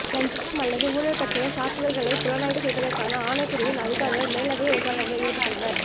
இலஞ்சம் அல்லது ஊழல் பற்றிய சாத்துதல்களைப் புலனாய்வு செய்வதற்கான ஆணைக்குழுவின் அதிகாரிகள் மேலதிக விசாரணைகளில் ஈடுபட்டுள்ளனர்